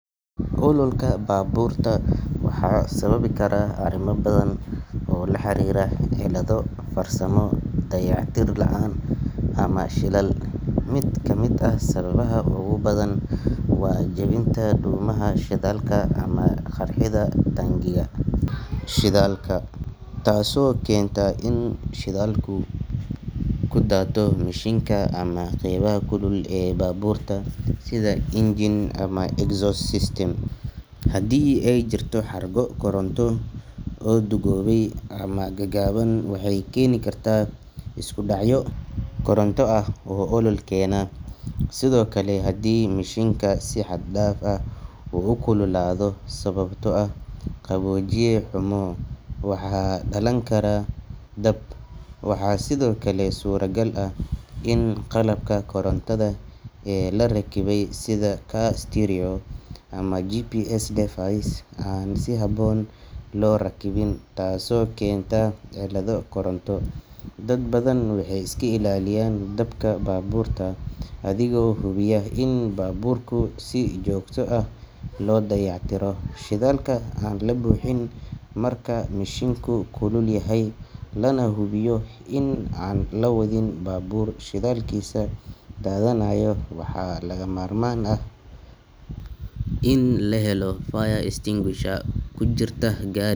Ololka baaburta waxa sababi kara arrimo badan oo la xiriira cilado farsamo, dayactir la’aan ama shilal. Mid ka mid ah sababaha ugu badan waa jebinta dhuumaha shidaalka ama qarxidda taangiga shidaalka taasoo keenta in shidaalku ku daato mishiinka ama qaybaha kulul ee baabuurta sida engine ama exhaust system. Haddii ay jirto xargo koronto oo duugoobay ama gaagaaban, waxay keeni karaan iskudhacyo koronto ah oo olol keena. Sidoo kale, haddii mishiinka si xad dhaaf ah u kululaado sababtoo ah qaboojiye xumo, waxaa dhalan kara dab. Waxaa sidoo kale suuragal ah in qalabka korontada ee la rakibay sida car stereo ama GPS device aan si habboon loo rakibin taasoo keenta cillado koronto. Dad badan waxay iska ilaaliyaan dabka baabuurka adigoo hubiya in baabuurku si joogto ah loo dayactiro, shidaalka aan la buuxin marka mishiinku kulul yahay, lana hubiyo in aan la wadin baabuur shidaalkiisa daadanayo. Waxaa lagama maarmaan ah in la helo fire extinguisher ku jirta gaa.